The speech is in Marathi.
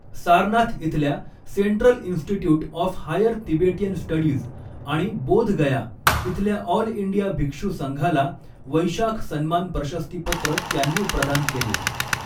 सारनाथ इथल्या Central Institute of Higher Tibetan Studies आणि बोध गया इथल्या ऑल इंडिया भिक्षू संघाला वैशाख सन्मान प्रशस्ती पत्र त्यांनी प्रदान केले.